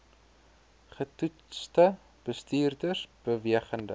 getoetste bestuurders bewegende